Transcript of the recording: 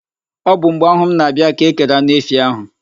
Ọ bụ mgbe ahụ m na-abịa ka e kere anụ efi ahụ.